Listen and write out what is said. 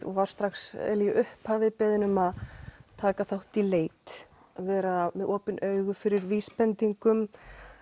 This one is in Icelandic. var strax í upphafi beðinn um að taka þátt í leit vera með opin augu fyrir vísbendingum